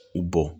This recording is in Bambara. I bɔn